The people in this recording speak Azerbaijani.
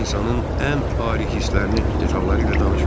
Sənə insanın ən ali hislərini detalları ilə danışmayım.